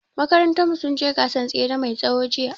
Makarantar mu sun je gasan tsere mai tsawo jiya